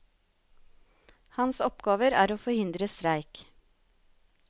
Hans oppgaver er å forhindre streik.